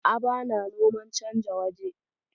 A'a, bana noman canja waje.